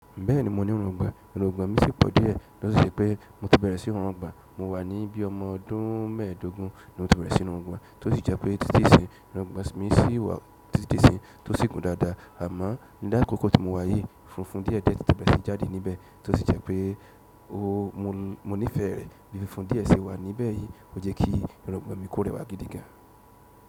Bẹ́ẹ̀ni mo ní irungbon, irungbon mi sì pọ̀ díẹ̀, tọ́ ṣi se pé mo ti bẹ̀rẹ̀ sí wu irubgbon, mo wà ní bí i ọmọ ọdún mẹ́ẹ̀dógún ni mo tó bẹ̀rẹ̀ sí ní wu irungbon, tó sì jẹ́ pé títí èsín irungbon mi sì wà títí isín, tó sì gùn dáadáa, àmọ́ ní lákòókò tí mo wà yìí, funfun díẹ̀ jẹ́ ti tẹ̀bẹ̀rẹ̀ sí jáde níbẹ̀, tó sì jẹ́ pé mo nífẹ̀ẹ́ rẹ̀, bí i funfun díẹ̀ ṣe wà níbẹ̀ yìí, ó jẹ́ kí irungbon mi kó rẹwà gidi gan.